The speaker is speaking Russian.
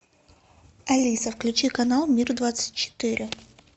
алиса включи канал мир двадцать четыре